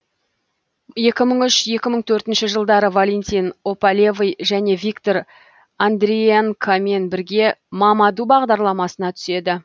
екі мың үш екі мың төртінші жылдары валентин опалевый және виктор андриенкомен бірге мамаду бағдарламасына түседі